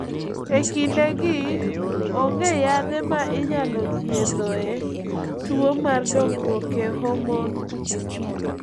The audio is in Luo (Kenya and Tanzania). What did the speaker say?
E kindegi, onge yadhe ma inyalo thiedhoe tuwo mar dongruok e homon.